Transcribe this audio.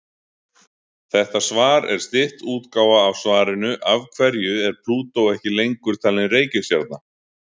Þetta svar er stytt útgáfa af svarinu Af hverju er Plútó ekki lengur talin reikistjarna?